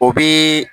O bi